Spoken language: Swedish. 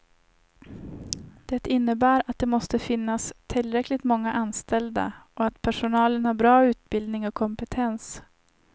Det innebär att det måste finnas tillräckligt många anställda och att personalen har bra utbildning och kompetens.